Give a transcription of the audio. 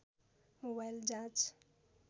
mobile जाँच